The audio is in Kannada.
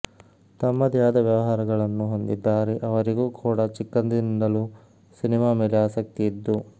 ತಮ್ಮದೇ ಆದ ವ್ಯವಹಾರಗಳನ್ನು ಹೊಂದಿದ್ದಾರೆ ಅವರಿಗೂ ಕೂಡ ಚಿಕ್ಕಂದಿನಿಂದಲೂ ಸಿನಿಮಾ ಮೇಲೆ ಆಸಕ್ತಿ ಇದ್ದು